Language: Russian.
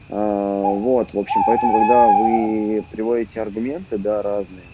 аа вот в общем поэтому когда вы приводите аргументы да разные